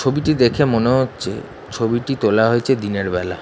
ছবিটি দেখে মনে হচ্ছে ছবিটি তোলা হয়েছে দিনের বেলা ।